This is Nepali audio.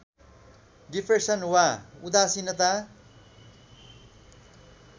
डिप्रेसन वा उदासिनता